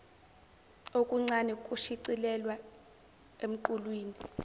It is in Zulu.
okuncane kushicilelwa emqulwini